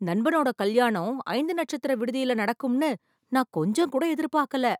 நண்பனோட கல்யாணம் ஐந்து நட்சத்திர விடுதியில நடக்கும்னு நான் கொஞ்சம் கூட எதிர்பாக்கல